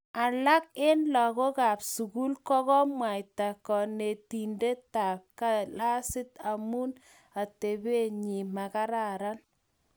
Alak eng lagokab sukul ko kimwaita konetindetab klasit amu atebenyi makararan